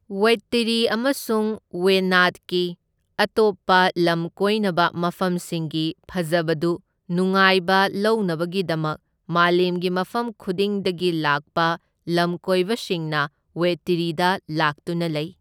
ꯋꯩꯢꯠꯇꯤꯔꯤ ꯑꯃꯁꯨꯡ ꯋꯥꯌꯅꯥꯗꯀꯤ ꯑꯇꯣꯞꯄ ꯂꯝꯀꯣꯏꯅꯕ ꯃꯐꯝꯁꯤꯡꯒꯤ ꯐꯖꯕꯗꯨ ꯅꯨꯡꯉꯥꯏꯕ ꯂꯧꯅꯕꯒꯤꯗꯃꯛ ꯃꯥꯂꯦꯝꯒꯤ ꯃꯐꯝ ꯈꯨꯗꯤꯡꯗꯒꯤ ꯂꯥꯛꯄ ꯂꯝꯀꯣꯏꯕꯁꯤꯡꯅ ꯋꯩꯢꯠꯇꯤꯔꯤꯗ ꯂꯥꯛꯇꯨꯅ ꯂꯩ꯫